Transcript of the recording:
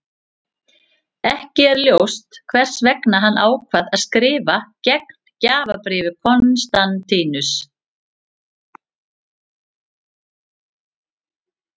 Ekki er ljóst hvers vegna hann ákvað að skrifa gegn gjafabréfi Konstantínusar.